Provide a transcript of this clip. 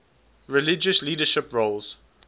religious leadership roles